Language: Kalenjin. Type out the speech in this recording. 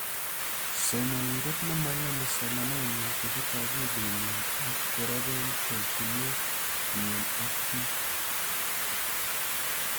somanindet nemoiyoni somanet nyin kochut akilit nyin ak korepen terchinet nyi ak piik